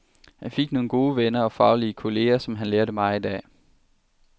Han fik nogle gode venner og faglige kolleger, som han lærte meget af.